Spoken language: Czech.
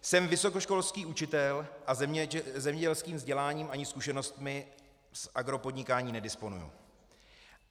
Jsem vysokoškolský učitel a zemědělským vzděláním ani zkušenostmi z agropodnikání nedisponuji.